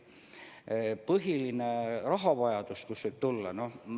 Kus võib põhiline rahavajadus tekkida?